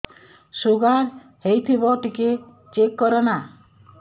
sugar ହେଇଥିବ ଟିକେ check କର ନା